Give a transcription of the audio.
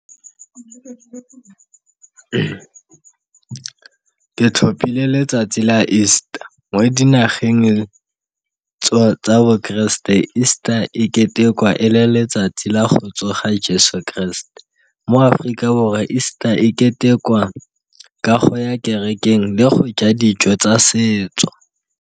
Ke tlhopile letsatsi la easter mo dinageng tsa bo keresete easter ketekwa e le letsatsi la go tsoga jeso kereste, mo Aforika Borwa easter e ketekwa ka go ya ko kerekeng le go ja dijo tsa setso.